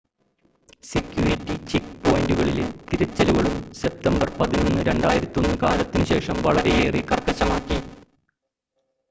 security check പോയിന്റുകളിലെ തിരച്ചിലുകളും, September 11 2001 കാലത്തിനു ശേഷം വളരെയേറെ കർക്കശമാക്കി